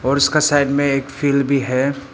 और उसका साइड में एक फील्ड भी है।